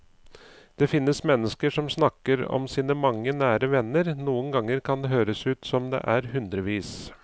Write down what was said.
Det finnes mennesker som snakker om sine mange nære venner, noen ganger kan det høres ut som om det er hundrevis.